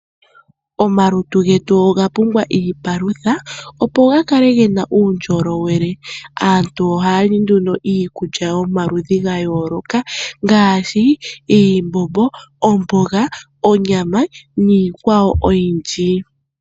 Omalutu getu oga pumbwa iipalutha opo ga kale hena uundjolowele. Aantu ohaya li nduno iikulya yomaludhi gayooloka ngaashi iimbombo, omboga, onyama niikwawo oyindji.